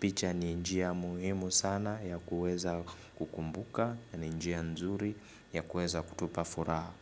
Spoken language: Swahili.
Picha ni njia muhimu sana ya kuweza kukumbuka ni njia nzuri ya kuweza kutupa furaha.